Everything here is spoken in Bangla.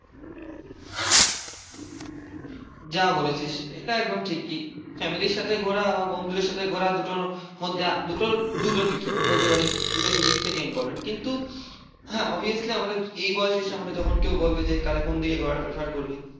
যা বলেছিস এটা একদম ঠিকই। ফ্যামিলির সাথে ঘোরা বা বন্ধুদের সাথে ঘোরা দুটো মধ্যে দুটো দুটো দিকে। বলতে পারিস দুটো দুদিক থেকে ইম্পরট্যান্ট। কিন্তু হ্যাঁ অবভিয়াসলি আমাদের এই বয়সে এসে আমাদের যখন কেউ বলবে যে কারে কোন দিকে ঘোরাটা প্রেফার করবি?